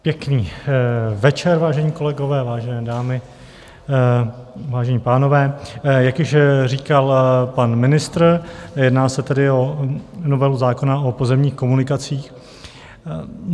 Pěkný večer, vážení kolegové, vážené dámy, vážení pánové, jak již říkal pan ministr, jedná se tedy o novelu zákona o pozemních komunikacích.